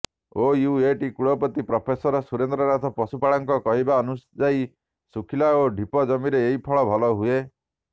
OUAT କୁଳପତିି professor Surendranath ପଶୁପାଳକଙ୍କ କହିବାନୁଯାୟୀ ଶୁଖିଲା ଓ ଢିପ ଜମିରେ ଏହି ଫଳ ଭଲ ହୁଏ